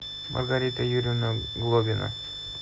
маргарита юрьевна глобина